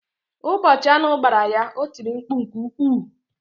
Ụbọchị aṅụ gbara ya, o tìrì mkpu nke ukwuu.